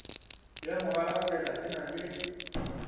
ya mogalakwena e na le